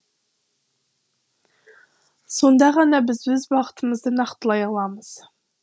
сонда ғана біз өз бағытымызды нақтылай аламыз